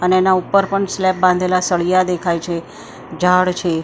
અને એના ઉપર પણ સ્લેબ બાંધેલા સળિયા દેખાય છે ઝાડ છે--